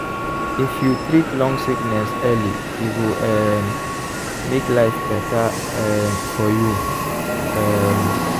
if you treat long sickness early e go um make life better um for you. um